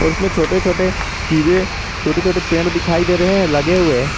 और उसमें छोटे छोटे चीजें छोटे छोटे पेड़ दिखाई दे रहे हैं लगे हुए।